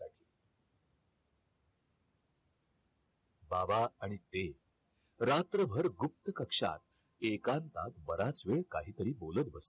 बाबा आणि ते रात्रभर गुप्त कक्षात एकांतात बराच वेळ काही तरी बोलत होते